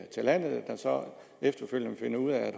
til landet der så efterfølgende finder ud af at